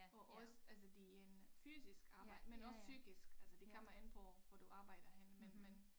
Og også altså det en fysisk arbejde men også psykisk altså det kommer an på hvor du arbejder henne men men